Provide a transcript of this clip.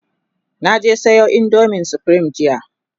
na je Sayo indomin supreme jiya